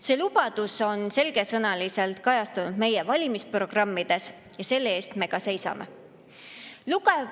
See lubadus on selgesõnaliselt kajastunud meie valimisprogrammides ja selle eest me ka seisame.